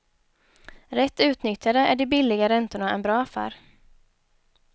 Rätt utnyttjade är de billiga räntorna en bra affär.